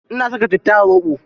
Ina saka citta a zoɓo.